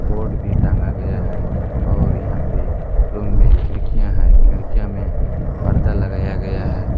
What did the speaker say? Board भी टांगा गया है और यहां पे रूम में खिड़कियां है खिड़कियां में परदा लगाया गया है।